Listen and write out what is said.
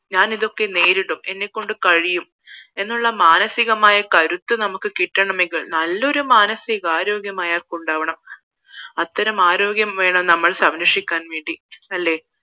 ഞാൻ ഇതൊക്കെ നേരിടും എന്നെ കൊണ്ട് കഴിയും എന്നുള്ള മാനസികമായ കരുത്ത് കിട്ടമെങ്കിൽ നല്ലൊരു മാനസികാരോഗ്യം അയാൾക്ക് ഉണ്ടാകണം അത്തരം ആരോഗ്യം വേണം നമ്മൾ സംരക്ഷിക്കാൻ വേണ്ടി അല്ലേ